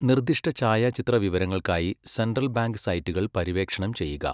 നിർദ്ദിഷ്ട ഛായാചിത്ര വിവരങ്ങൾക്കായി സെൻട്രൽ ബാങ്ക് സൈറ്റുകൾ പര്യവേക്ഷണം ചെയ്യുക.